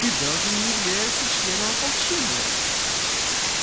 ты даже не являешься членом ополчения